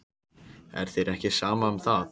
Er þér ekki sama um það?